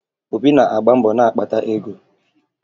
Obi na-agba mbọ na-akpata ego